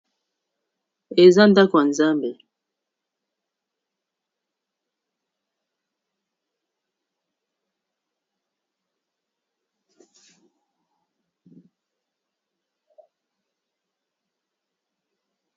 Eza ndako ya nzambe.